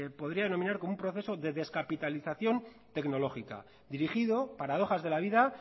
podría denominar como un proceso de descapitalización tecnológica dirigido paradojas de la vida